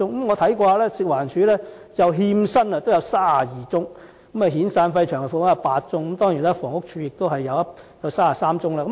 我發現食環署的欠薪個案有32宗；遣散費及長期服務金有8宗，當然房屋署的個案也有33宗。